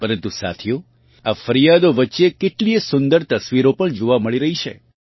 પરન્તુ સાથીઓ આ ફરિયાદો વચ્ચે કેટલીય સુંદર તસ્વીરો પણ જોવાં મળી રહી છે